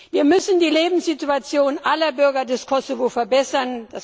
Wir müssen die Lebenssituation aller Bürger des Kosovo verbessern.